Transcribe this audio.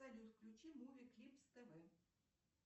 салют включи муви клипс тв